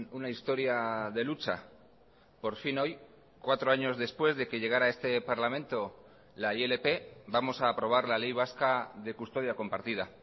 una historia de lucha por fin hoy cuatro años después de que llegara a este parlamento la ilp vamos a aprobar la ley vasca de custodia compartida